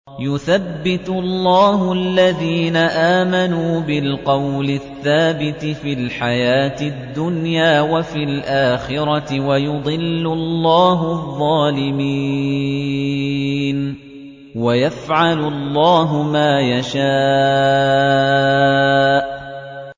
يُثَبِّتُ اللَّهُ الَّذِينَ آمَنُوا بِالْقَوْلِ الثَّابِتِ فِي الْحَيَاةِ الدُّنْيَا وَفِي الْآخِرَةِ ۖ وَيُضِلُّ اللَّهُ الظَّالِمِينَ ۚ وَيَفْعَلُ اللَّهُ مَا يَشَاءُ